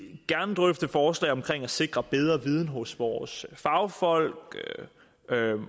gerne drøfte forslag om at sikre bedre viden hos vores fagfolk